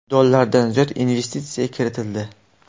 dollardan ziyod investitsiya kiritildi.